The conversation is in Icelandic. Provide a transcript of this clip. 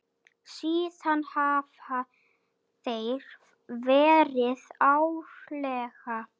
Síðan hafa þeir verið árlega.